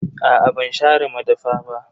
Aa ban share madafa ba.